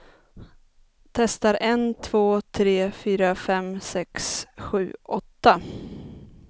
Testar en två tre fyra fem sex sju åtta.